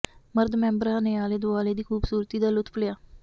ਮਰਦ ਮੈਂਬਰਾਂ ਨੇ ਆਲੇ ਦੁਆਲੇ ਦੀ ਖੂਬਸੂਰਤੀ ਦਾ ਲੁਤਫ ਲਿਆ